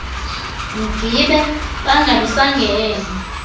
mgibe bangabi sangena